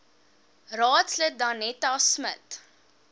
raadslid danetta smit